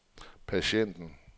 patienten